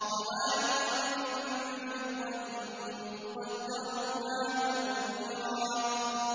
قَوَارِيرَ مِن فِضَّةٍ قَدَّرُوهَا تَقْدِيرًا